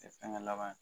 Fɛngɛ laban